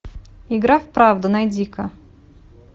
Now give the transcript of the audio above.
игра в правду найди ка